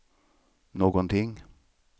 någonting